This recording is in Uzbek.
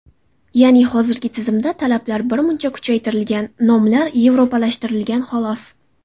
Ya’ni, hozirgi tizimda talablar birmuncha kuchaytirilgan, nomlar yevropalashtirilgan, xolos.